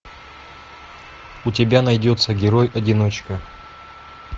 у тебя найдется герой одиночка